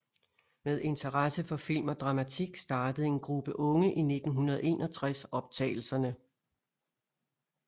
Med interesse for film og dramatik startede en gruppe unge i 1961 optagelserne